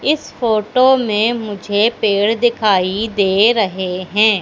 इस फोटो में मुझे पेड़ दिखाई दे रहे हैं।